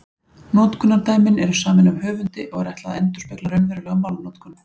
Notkunardæmin eru samin af höfundi og er ætlað að endurspegla raunverulega málnotkun.